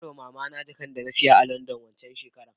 Nabarwa mamana jakanda nasiya a landan wanxan shekarar